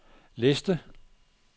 liste